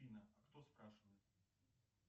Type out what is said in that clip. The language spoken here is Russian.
афина а кто спрашивает